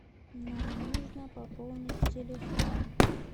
нам нужно пополнить телефон